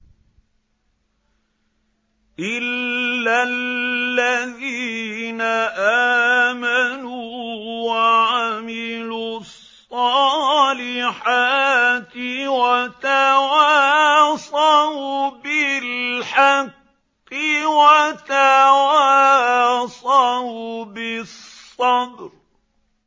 إِلَّا الَّذِينَ آمَنُوا وَعَمِلُوا الصَّالِحَاتِ وَتَوَاصَوْا بِالْحَقِّ وَتَوَاصَوْا بِالصَّبْرِ